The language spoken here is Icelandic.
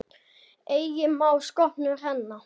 Eigi má sköpum renna.